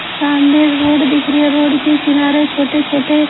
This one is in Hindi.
सामने रोड दिख रही है रोड के किनारे छोटे-छोटे--